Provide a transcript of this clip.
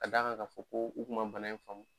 Ka d'a kan ka fɔ ko u kun ma bana in faamu.